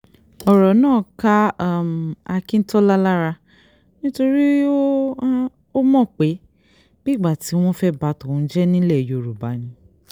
ọ̀rọ̀ náà ká um akíntola lára nítorí ó um mọ̀ pé bíi ìgbà tí wọ́n fẹ́ẹ́ bá tòun jẹ́ nílẹ̀ yorùbá ni